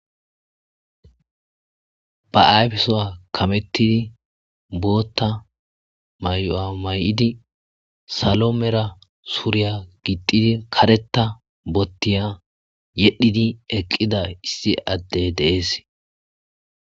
Ba ayfesoa kamettidi bootta may7o,a may7idi salo mera suuriya gixidi kareta bottiya yedhidi eqqida issi adde deees.